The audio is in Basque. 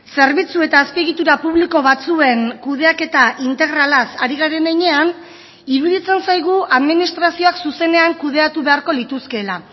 zerbitzu eta azpiegitura publiko batzuen kudeaketa integralaz ari garen heinean iruditzen zaigu administrazioak zuzenean kudeatu beharko lituzkeela